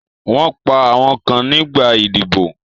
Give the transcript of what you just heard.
Wọ́n pa àwọn kan nígbà idiboy